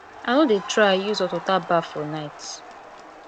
i no dey try use hot water baff for night